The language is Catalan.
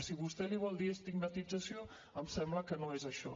si vostè li vol dir estigmatització em sembla que no és això